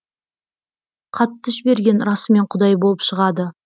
хатты жіберген расымен құдай болып шығады